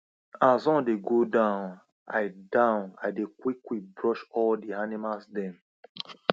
as sun dey go down i down i dey quickquick brush all di animals dem